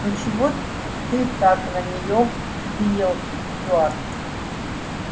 ну чего ты так на неё взъелся стюарт